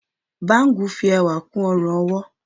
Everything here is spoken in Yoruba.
bangu fi ẹwà kú ọrun-ọwọ.